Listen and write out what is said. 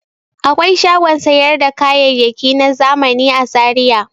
Akwai shagon sayar da kayayaki na zamani a Zaiya.